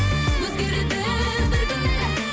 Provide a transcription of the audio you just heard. өзгереді бір күні әлі